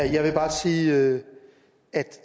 jeg vil bare sige at